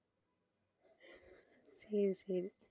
சரி சரி